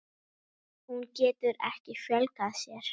Hún getur ekki fjölgað sér.